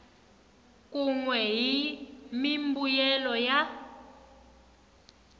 kun we ni mimbuyelo ya